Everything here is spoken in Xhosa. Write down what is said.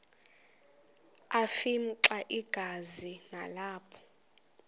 afimxa igazi nalapho